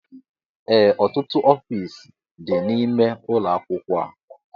Ee ọtụtụ ọfiisi dị n'ime ụlọ akwụkwọ a